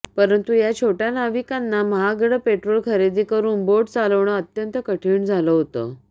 परंतु या छोटया नाविकांना महागडं पेट्रोल खरेदी करून बोट चालवणं अत्यंत कठीण झालं होतं